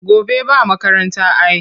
Gobe ba makaranta ai.